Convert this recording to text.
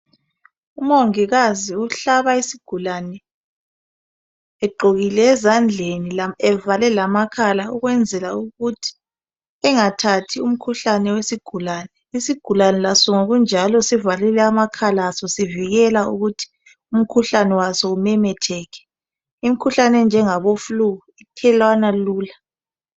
Umongikazi uhlaba isigulane egqokile ezandleni ,evale lamakhala . Ukwenzela ukuthi engathathi umkhuhlane wesigulane . Isigulane laso ngokunjalo sivalile amakhala asosivikela ukuthi umkhuhlane waso umemetheke. Umkhuhlane onjengabo Flue othelelwana lula.